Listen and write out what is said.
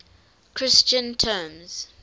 christian terms